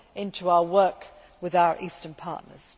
to our work with our eastern partners.